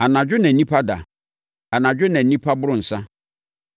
Anadwo na nnipa da. Anadwo na nnipa boro nsã.